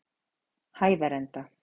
Hæðarenda